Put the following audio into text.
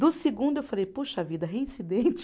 Do segundo eu falei, puxa vida, reincidente.